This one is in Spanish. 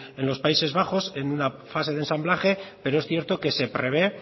en los países bajos en una fase de ensamblaje pero es cierto que se prevé